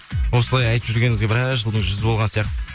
осылай айтып жүргеніңізге біраз жылдың жүзі болған сияқты